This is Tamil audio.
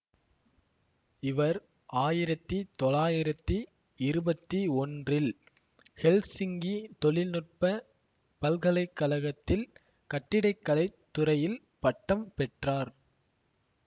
இவர் ஆயிரத்தி தொளாயிரத்தி இருபத்தி ஒன்றில் ஹெல்சிங்கி தொழில்நுட்ப பல்கலை கழகத்தில் கட்டிட கலை துறையில் பட்டம் பெற்றார்